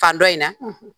Fan dɔ in na